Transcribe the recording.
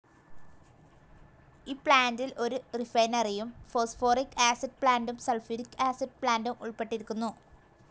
ഈ പ്ലാന്റിൽ ഒരു റിഫൈനറിയും ഫോസ്ഫോറിക്‌ ആസിഡ്‌ പ്ലാന്റും സൾഫ്യൂരിക് ആസിഡ്‌ പ്ലാന്റും ഉൾപ്പെട്ടിരുന്നു.